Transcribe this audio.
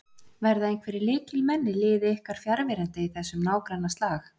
Verða einhverjir lykilmenn í liði ykkar fjarverandi í þessum nágrannaslag?